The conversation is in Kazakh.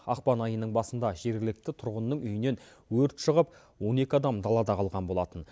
ақпан айының басында жергілікті тұрғынның үйінен өрт шығып он екі адам далада қалған болатын